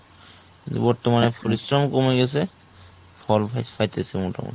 বর্তমানে পরিশ্রম কমে গেছে ফল বেশ পাইতেসে মোটামুটি